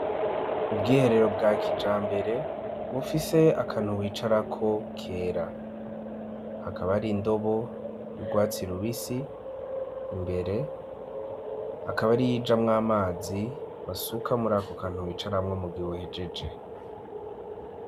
Ubwiherero bwa kijambere bufise akantu wicarako kera hakaba hari indobo y'ugwatsi rubisi imbere akaba ari iyijamwo amazi basuka muri ako kantu wicaramwo mu gihe uhejeje.